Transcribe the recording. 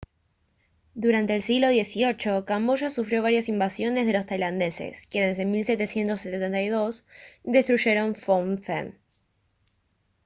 durante el siglo xviii camboya sufrió varias invasiones de los tailandeses quienes en 1772 destruyeron phnom phen